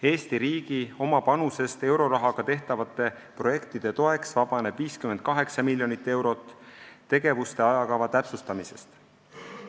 Eesti riigi oma panusest eurorahaga tehtavate projektide toeks vabaneb 58 miljonit eurot tegevuste ajakava täpsustamisest.